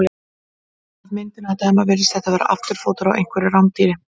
Af myndinni að dæma virðist þetta vera afturfótur á einhverju rándýri.